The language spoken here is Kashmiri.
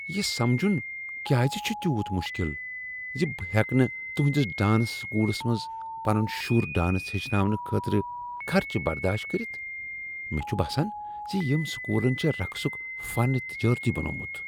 یہ سمجن کیٛاز چھےٚ تیوٗت مشکل زِ بہٕ ہیکہٕ نہٕ تہنٛدس ڈانس سکولس منٛز پنٛن شر ڈانس ہیٚچھناونہٕ خٲطرٕ خرچہٕ برداشت کٔرتھ؟ مےٚ چھ باسان ز ییٚمۍ سکولن چھ رقصک فن تجٲرتی بنوومت۔